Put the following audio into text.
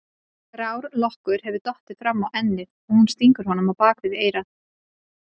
Grár lokkur hefur dottið fram á ennið og hún stingur honum á bak við eyrað.